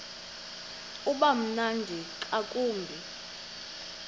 uba mnandi ngakumbi